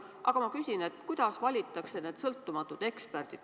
Aga ma küsin, kuidas valitakse need sõltumatud eksperdid.